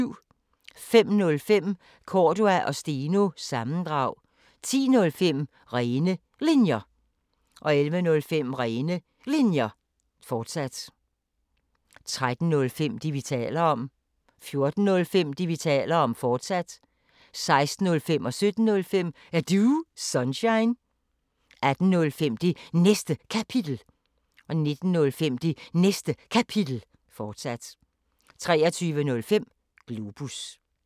05:05: Cordua & Steno – sammendrag 10:05: Rene Linjer 11:05: Rene Linjer, fortsat 13:05: Det, vi taler om 14:05: Det, vi taler om, fortsat 16:05: Er Du Sunshine? 17:05: Er Du Sunshine? 18:05: Det Næste Kapitel 19:05: Det Næste Kapitel, fortsat 23:05: Globus